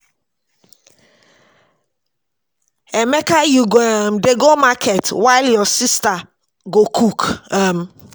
Emeka you go um dey go market while your sister go cook um